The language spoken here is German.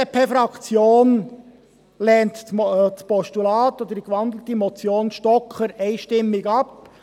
Die BDP-Fraktion lehnt das Postulat, die gewandelte Motion Stocker, einstimmig ab.